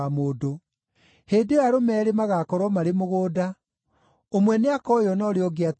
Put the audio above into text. Hĩndĩ ĩyo arũme eerĩ magaakorwo marĩ mũgũnda; ũmwe nĩakoywo na ũrĩa ũngĩ atigwo.